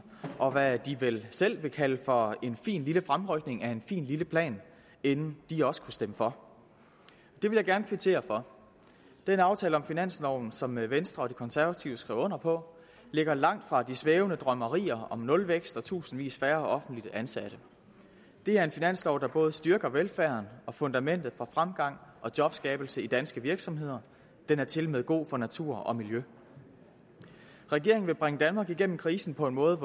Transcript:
og hvad de vel selv vil kalde for en fin lille fremrykning af en fin lille plan inden de også kunne stemme for det vil jeg gerne kvittere for den aftale om finansloven som venstre og de konservative skrev under på ligger langt fra de svævende drømmerier om nulvækst og tusindvis af færre offentligt ansatte det er en finanslov der både styrker velfærden og fundamentet for fremgang og jobskabelse i danske virksomheder den er tilmed god for natur og miljø regeringen vil bringe danmark igennem krisen på en måde